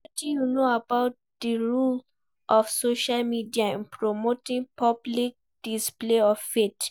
wetin you know about di role of social media in promoting public display of faith?